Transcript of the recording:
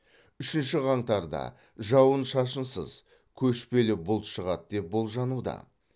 үшінші қаңтарда жауын шашынсыз көшпелі бұлт шығады деп болжануда